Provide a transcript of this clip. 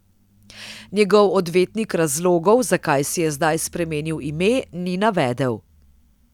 Njegov odvetnik razlogov, zakaj si je zdaj spremenil ime, ni navedel.